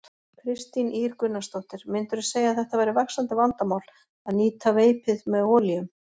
Kristín Ýr Gunnarsdóttir: Myndirðu segja að þetta væri vaxandi vandamál, að nýta veipið með olíum?